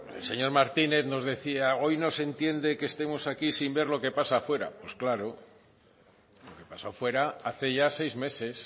el señor martínez nos decía hoy no se entiende que estemos aquí sin ver lo que pasa fuera pues claro lo que ha pasado fuera hace ya seis meses